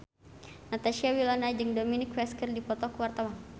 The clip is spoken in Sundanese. Natasha Wilona jeung Dominic West keur dipoto ku wartawan